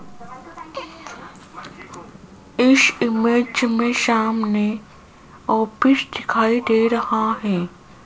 इस इमेज में सामने ऑफिस दिखाई दे रहा है।